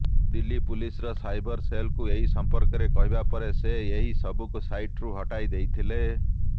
ଦିଲ୍ଲୀ ପୁଲିସର ସାଇବର ସେଲଙ୍କୁ ଏହି ସମ୍ପର୍କରେ କହିବା ପରେ ସେ ଏହି ସବୁକୁ ସାଇଟ୍ରୁ ହଟାଇ ଦେଇଥିଲେ